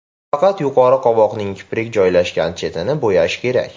Faqat yuqori qovoqning kiprik joylashgan chetini bo‘yash kerak.